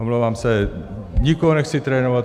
Omlouvám se, nikoho nechci trénovat.